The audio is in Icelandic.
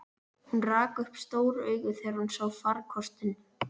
Hún rak upp stór augu þegar hún sá farkostinn.